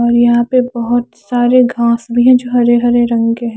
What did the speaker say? यहा पे बोहोत सारे घास भी है जो हरे हरे रंग के है ।